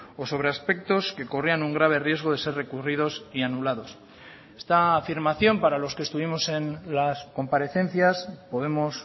o sobre aspectos que corrían un grave riesgo de ser recurridos y anulados esta afirmación para los que estuvimos en las comparecencias podemos